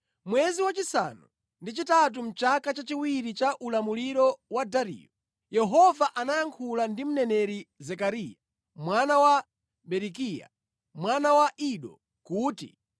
Mwezi wachisanu ndi chitatu, mʼchaka chachiwiri cha ulamuliro wa Dariyo, Yehova anayankhula ndi mneneri Zekariya mwana wa Berekiya, mwana wa Ido, kuti: